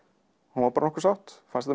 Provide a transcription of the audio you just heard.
hún var bara nokkuð sátt fannst